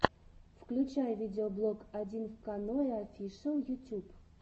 включай видеоблог одинвканоеофишэл ютюб